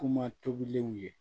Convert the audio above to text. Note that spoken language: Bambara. Kuma tobilenw ye